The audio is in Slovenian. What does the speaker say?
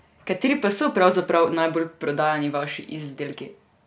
Kateri pa so pravzaprav najbolj prodajani vaši izdelki?